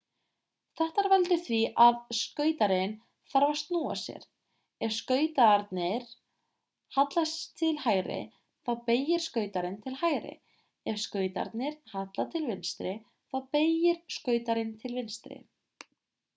þetta veldur því að skautarinn þarf að snúa sér ef skautarnir halla til hægri þá beygir skautarinn til hægri ef skautarnir halla til vinstri þá beygir skautarinn til vinstri